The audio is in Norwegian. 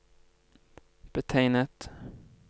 betegnet